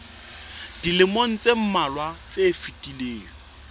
dilemong tse mmalwa tse fetileng